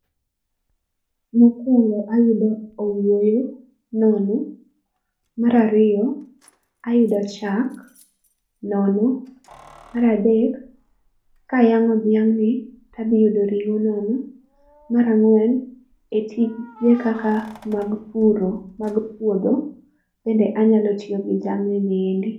Mokwongo ayudo owuoyo, nono. Mar ariyo, ayudo chak, nono. Mar adek, kayang'o dhiang'ni tadhiyudo ring'o nono. Mar ang'wen, e tije kaka mag puro mag puodho, bende anyalo tiyo gi jamni niendi